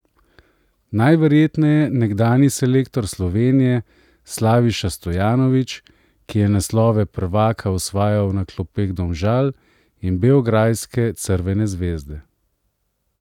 Najverjetneje nekdanji selektor Slovenije Slaviša Stojanović, ki je naslove prvaka osvajal na klopeh Domžal in beograjske Crvene zvezde.